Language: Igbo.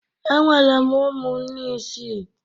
Enwere m ụmụnne isii